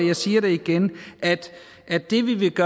jeg siger det igen det vi vil